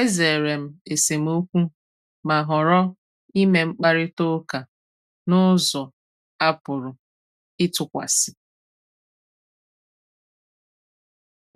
E zèrè m esemọ́kụ̀, ma họ̀rọ̀ ime mkpàrịtà ụ́ka n’ụ̀zọ a pụ̀rụ ịtụkwàsị